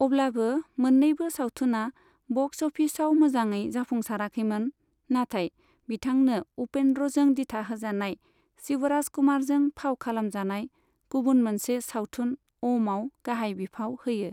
अब्लाबो मोन्नैबो सावथुना बक्स अफिसाव मोजाङै जाफुंसाराखैमोन, नाथाय बिथांनो उपेन्द्रजों दिथाहोजानाय शिवराजकुमारजों फाव खालामजानाय गुबुन मोनसे सावथुन अमआव गाहाय बिफाव होयो।